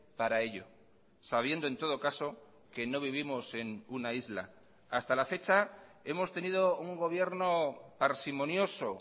para ello sabiendo en todo caso que no vivimos en una isla hasta la fecha hemos tenido un gobierno parsimonioso